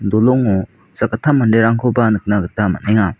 dolongo sakgittam manderangkoba nikna gita man·enga.